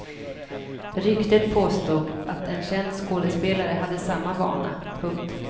Ryktet påstod att en känd skådespelare hade samma vana. punkt